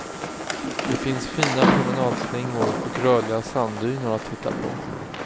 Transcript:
Det finns fina promenadslingor och rörliga sanddyner att titta på.